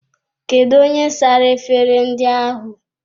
Kedụ onye sara efere ndị ahụ?